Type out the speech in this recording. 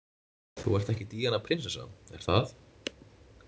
Þú ert ekki Díana prinsessa, er það?